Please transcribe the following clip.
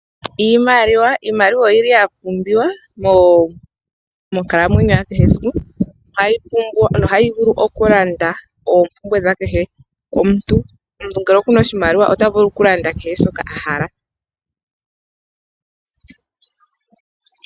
Iimaliwa, iimaliwa oyili ya pumbiwa monkalamwenyo ya kehe esiku ohayi vulu okulanda opumbwe dha kehe omuntu , omuntu ngele okuna oshimaliwa ota vulu okulanda kehe shoka ahala.